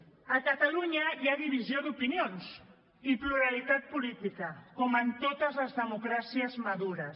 a catalunya hi ha divisió d’opinions i pluralitat política com en totes les democràcies madures